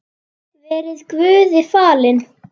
Verið Guði falin.